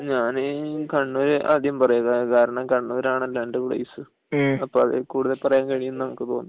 ഞാനീ കണ്ണൂർ ആദ്യം പറയാം കാരണം കണ്ണൂർ ആണല്ലോ അന്റെ പ്ലെയ്സ് അപ്പൊ അതിൽ കൂടുതൽ പറയാൻ കഴിയും എന്ന് എനിക്ക് തോന്നുന്നു